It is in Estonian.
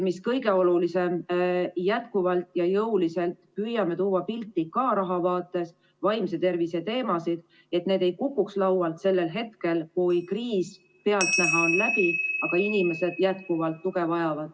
Mis aga kõige olulisem, jätkuvalt ja jõuliselt püüame tuua pildile vaimse tervise teemasid, et need ei kukuks laualt maha sellel hetkel, kui kriis on pealtnäha läbi, aga inimesed vajavad ikka tuge.